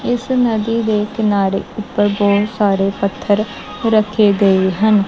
ਇਸ ਨਦੀ ਦੇ ਕਿਨਾਰੇ ਉੱਪਰ ਬਹੁਤ ਸਾਰੇ ਪੱਥਰ ਰੱਖੇ ਗਏ ਹਨ।